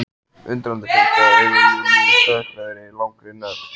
Undrandi fylgja augu Júlíu dökkrauðri langri nögl.